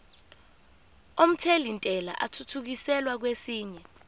omthelintela athuthukiselwa kwesinye